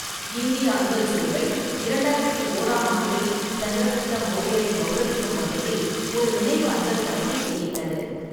இந்திய அஞ்சல் சேவை இரண்டாயிரத்தி ஓராம் ஆண்டில் சந்திரகுப்த மௌரியரை கௌரவிக்கும் வகையில் ஒரு நினைவு அஞ்சல்தலையை வெளியிட்டது.